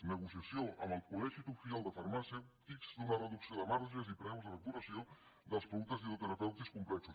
negociació amb el col·legi oficial de farmacèutics d’una reducció de marges i preus de facturació dels productes dietoterapèutics complexos